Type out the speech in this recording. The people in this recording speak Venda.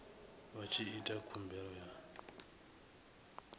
vha tshi ita khumbelo ya